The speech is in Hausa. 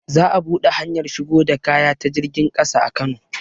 Za a buɗe hanyar shigo da kaya ta jirgin ƙasa a kano